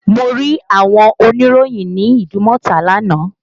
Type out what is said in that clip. Mo rí àwọn oníròyìn ní Idumota lánàá